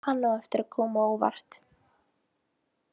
Hann á eftir að koma á óvart.